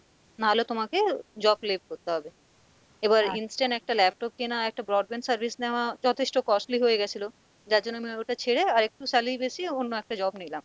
নাহলে তোমাকে job left করতে হবে এবার instant একটা laptop কেনা, একটা broadband service নেওয়া যথেষ্ঠ costly হয়ে গেছিলো যার জন্য আমি ওটা ছেড়ে আরেকটু salary বেশি অন্য একটা job নিলাম।